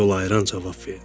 Yol ayıran cavab verdi.